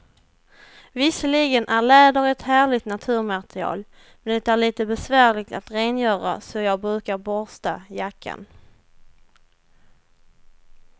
Visserligen är läder ett härligt naturmaterial, men det är lite besvärligt att rengöra, så jag brukar borsta jackan.